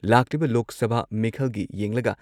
ꯂꯥꯛꯂꯤꯕ ꯂꯣꯛ ꯁꯚꯥ ꯃꯤꯈꯜꯒꯤ ꯌꯦꯡꯂꯒ